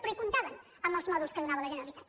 però hi comptaven amb els mòduls que donava la generalitat